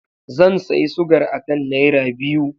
Zan sayi sugar akan naira biyu.